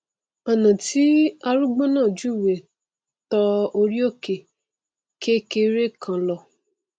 ọnà tí arúgbó náà júwèé tọ orí òkè kékeré kan lọ